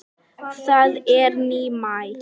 Það er nýmæli.